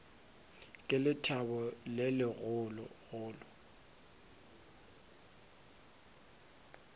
ka lethabo le legolo go